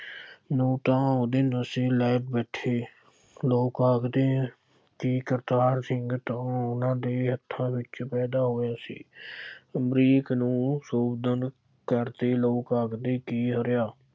ਨੂੰ ਤਾਂ ਉਹਦੇ ਨਸ਼ੇ ਲੈ ਬੈਠੇ। ਲੋਕ ਆਖਦੇ ਕਿ ਕਰਤਾਰ ਸਿੰਘ ਤਾਂ ਉਹਨਾ ਦੇ ਹੱਥਾਂ ਵਿੱਚ ਪੈਦਾ ਹੋਇਆ ਸੀ। ਅਮਰੀਕ ਨੂੰ ਕਰਦੇ ਲੋਕ ਆਖਦੇ ਕਿ ਅੜਿਆ